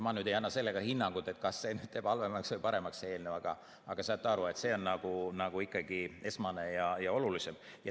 Ma nüüd ei anna hinnangut, kas see eelnõu teeb midagi halvemaks või paremaks, aga saage aru, et see on ikkagi esmane ja olulisim.